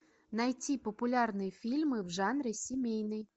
найти популярные фильмы в жанре семейный